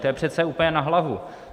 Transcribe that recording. To je přece úplně na hlavu.